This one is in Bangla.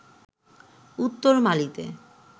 উত্তর মালিতে